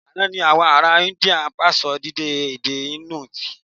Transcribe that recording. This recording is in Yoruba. Àná ni àwọn ará India pa síṣọ èdè Indu tì